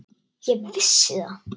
Ég vissi það.